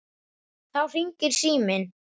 Þá hringir síminn.